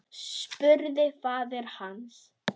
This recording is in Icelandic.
spurði faðir hans.